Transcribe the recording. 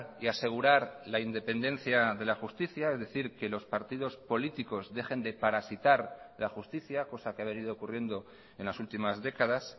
y asegurar la independencia de la justicia es decir que los partidos políticos dejen de parasitar la justicia cosa que ha venido ocurriendo en las últimas décadas